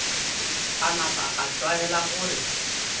a napa a tlwaela gore